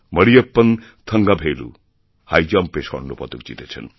মরিয়প্পন থঙ্গাভেলু হাইজাম্পে স্বর্ণ পদক জিতেছেন